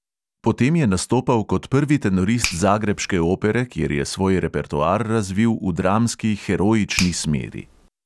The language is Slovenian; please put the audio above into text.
Potem je nastopal kot prvi tenorist zagrebške opere, kjer je svoj repertoar razvil v dramski heroični smeri.